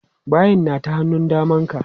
Bayin na ta hannun daman ka.